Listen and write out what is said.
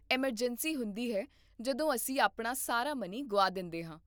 emergency ਹੁੰਦੀ ਹੈ ਜਦੋਂ ਅਸੀਂ ਆਪਣਾ ਸਾਰਾ ਮਨੀ ਗੁਆ ਦਿੰਦੇ ਹਾਂ